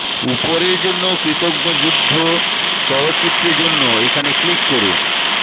উপরের জন্য কৃতজ্ঞ যুদ্ধ চলচ্চিত্রের জন্য এখানে ক্লিক করুন